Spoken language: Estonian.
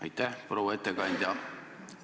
Aitäh, proua ettekandja!